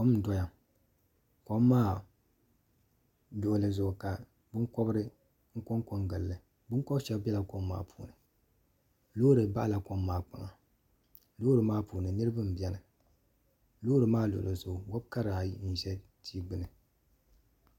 kom n doya kom maa zoomi ka binkobiri konko n gilli binkobiri maa shab biɛla kom maa puuni loori baɣala kom maa kpaŋa loori maa puuni niraba n biɛni loori maa luɣuli zuɣu wobi kara ayi n ʒɛ tia gbuni